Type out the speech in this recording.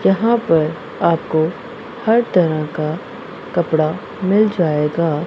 यहां पर आपको हर तरह का कपड़ा मिल जाएगा।